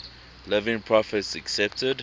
living prophets accepted